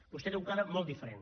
vostè té un quadre molt diferent